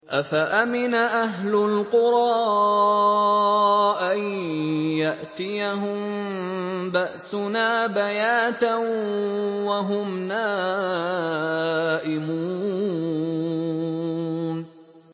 أَفَأَمِنَ أَهْلُ الْقُرَىٰ أَن يَأْتِيَهُم بَأْسُنَا بَيَاتًا وَهُمْ نَائِمُونَ